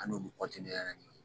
An n'olu ni ɲɔgɔn ye